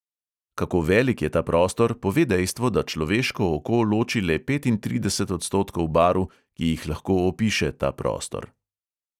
Kako velik je ta prostor, pove dejstvo, da človeško oko loči le petintrideset odstotkov barv, ki jih lahko opiše ta prostor.